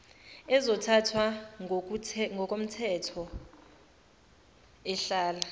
ezothathwa ngokothemthetho ehlala